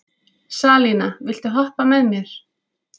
Salína, viltu hoppa með mér?